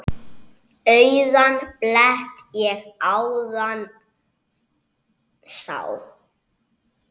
Auðan blett ég áðan sá.